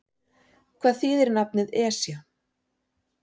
Hvað þýðir nafnið Esja?